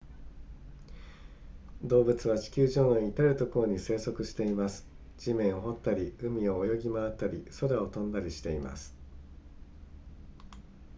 動物は地球上のいたるところに生息しています地面を掘ったり海を泳ぎ回ったり空を飛んだりしています